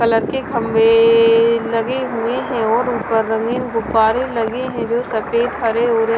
colour के खंबे ए लगे हुए हैं और ऊपर रंगीन गुब्बारे लगे हैं जो सफेद हरे और--